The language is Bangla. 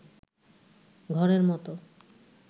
ঘরের মত